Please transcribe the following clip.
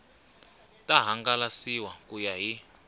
ta hangalasiwa ku ya hi